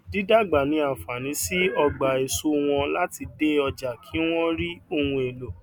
dídàgbà ní àǹfààní sí ogbà èso wọn láti dé ojà kí wón rí ohun èlò